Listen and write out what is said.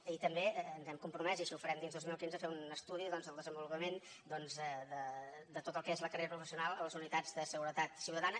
i també ens hem compromès i així ho farem dins del dos mil quinze a fer un estudi doncs del desenvolupament de tot el que és la carrera professional a les unitats de seguretat ciutadana